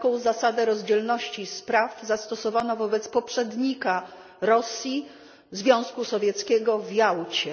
Taką zasadę rozdzielności spraw zastosowano wobec poprzednika Rosji Związku Sowieckiego w Jałcie.